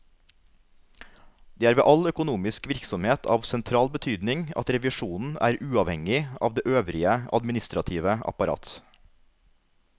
Det er ved all økonomisk virksomhet av sentral betydning at revisjonen er uavhengig av det øvrige administrative apparat.